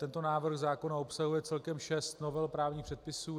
Tento návrh zákona obsahuje celkem šest novel právních předpisů.